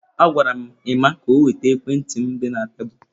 Agwara m Emma ka o weta ekwentị m dị na tebụl.